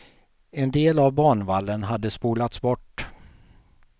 En del av banvallen hade spolats bort.